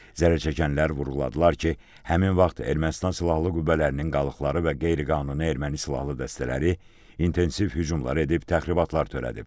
Zərərçəkənlər vurğuladılar ki, həmin vaxt Ermənistan silahlı qüvvələrinin qalıqları və qeyri-qanuni erməni silahlı dəstələri intensiv hücumlar edib təxribatlar törədib.